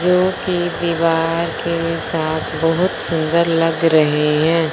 Road के दीवार के साथ बहोत सुंदर लग रहें हैं।